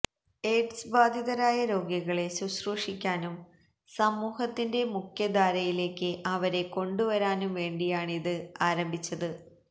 aid സ് ബാധിതരായ രോഗികളെ ശുശ്രൂഷിക്കാനും സമൂഹത്തിന്റെ മുഖ്യധാരയിലേക്ക് അ വരെ കൊണ്ടുവരാനും വേണ്ടി യാണിത് ആരംഭിച്ചത്